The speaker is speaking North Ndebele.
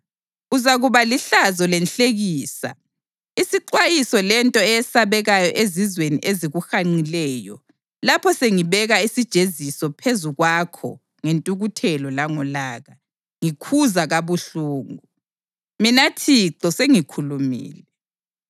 Uzakuba lihlazo lenhlekisa, isixwayiso lento eyesabekayo ezizweni ezikuhanqileyo lapho sengibeka isijeziso phezu kwakho ngentukuthelo langolaka, ngikhuza kabuhlungu. Mina Thixo sengikhulumile.